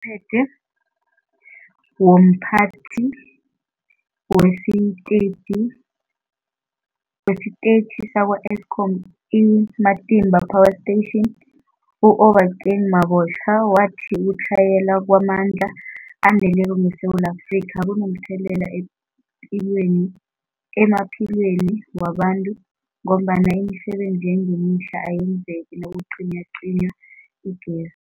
phethe womPhathi wesiTetjhi sakwa-Eskom i-Matimba Power Station u-Obakeng Mabotja wathi ukutlhayela kwamandla aneleko ngeSewula Afrika kunomthelela emphilweni emaphilweni wabantu ngombana imisebenzi yangemihla ayenzeki nakucinywacinywa igezi.